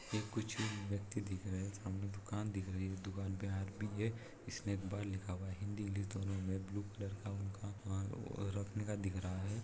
ए कुछ व्यक्ति दिख रहे हैं सामने दुकान दिख रहे हैं दुकान पे हारपिक है स्नैक बार लिखा लिखा हुआ हैं हिन्दी इंग्लिश दोनों मे ब्लू कलर का उनका रखने का दिख रहा है।